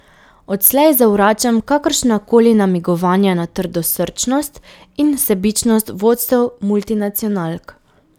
Odslej zavračam kakršna koli namigovanja na trdosrčnost in sebičnost vodstev multinacionalk.